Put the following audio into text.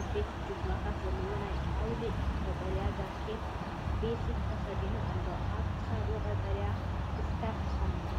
ዓበይቲ ጁባታት ዘለዎ ናይ ኣውሊዕ ቀጠልያ ጃኬት/ቬስት ተኸዲኑ ኣሎ። ኣብ ክሳዱ ቀጠልያ ስካርፍ ኣለዎ።